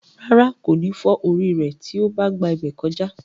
Rárá, kò ní fọ́ orí rẹ̀ tí ó bá gba ibẹ̀ kọjá.